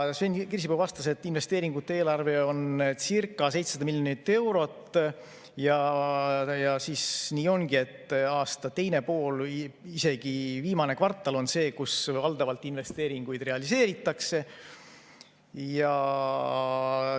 Sven Kirsipuu vastas, et investeeringute eelarve on circa 700 miljonit eurot ja nii ongi, et aasta teine pool või isegi viimane kvartal on see, kus valdavalt investeeringuid realiseeritakse.